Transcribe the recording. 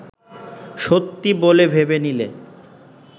সত্যি বলে ভেবে নিলে